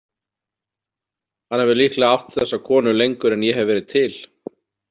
Hann hefur líklega átt þessa konu lengur en ég hef verið til.